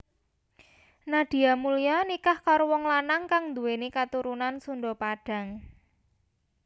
Nadia Mulya nikah karo wong lanang kang nduwèni katurunan Sunda Padang